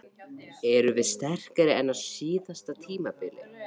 Erum við sterkari en á síðasta tímabili?